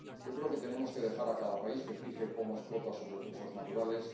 Yo creo que tenemos que dejar a cada país que fije cómo explota sus recursos naturales.